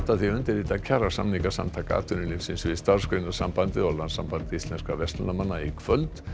því að undirrita kjarasamninga Samtaka atvinnulífsins við Starfsgreinasambandið og Landssamband íslenskra verslunarmanna í kvöld